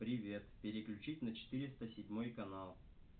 привет переключить на четыреста седьмой канал